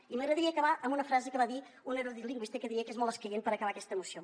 i m’agradaria acabar amb una frase que va dir un erudit lingüista que diria que és molt escaient per acabar aquesta moció